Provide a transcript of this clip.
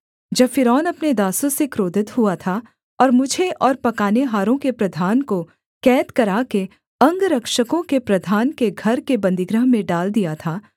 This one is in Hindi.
जब फ़िरौन अपने दासों से क्रोधित हुआ था और मुझे और पकानेहारों के प्रधान को कैद कराके अंगरक्षकों के प्रधान के घर के बन्दीगृह में डाल दिया था